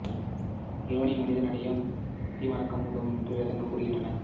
இறைவனை மனிதன் அடைய பக்தி மார்க்கம் உதவும் என்று வேதங்கள் கூறுகின்றன